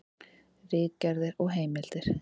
Ritgerðir og heimildir.